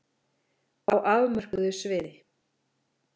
Á afmörkuðu sviði.